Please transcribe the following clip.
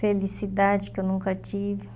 Felicidade que eu nunca tive.